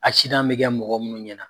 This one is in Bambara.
Asidan bɛ kɛ mɔgɔ munnu ɲɛna